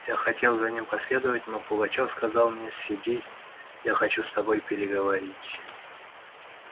я хотел за ним последовать но пугачёв сказал мне сиди я хочу с тобой переговорить